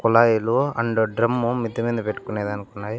కుళాయిలు and drum మిద్ది మింద పెట్టుకునేదానికి ఉన్నాయి.